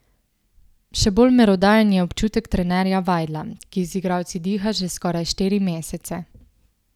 Še bolj merodajen je občutek trenerja Vajdla, ki z igralci diha že skoraj štiri mesece.